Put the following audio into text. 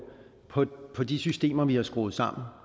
på de systemer vi har skruet sammen